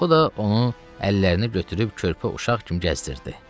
O da onu əllərini götürüb körpə uşaq kimi kəsdirirdi.